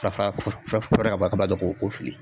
Farafara ka b'a la dɔn k'o k"o fili.